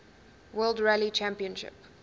world rally championship